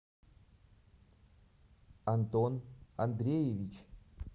антон андреевич